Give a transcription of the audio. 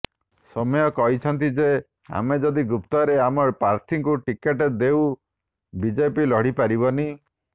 ସୌମ୍ୟ କହିଛନ୍ତି ଯେ ଆମେ ଯଦି ଗୁପ୍ତରେ ଆମ ପ୍ରାର୍ଥୀଙ୍କୁ ଟିକଟ ଦେଉ ବିଜେପି ଲଢ଼ିପାରିବନି